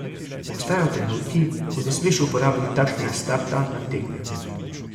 Obstajajo trenutki, ko ne smeš uporabiti takšnega starta nad tekmecem.